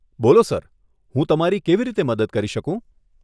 બોલો સર, હું તમારી કેવી રીતે મદદ કરી શકું?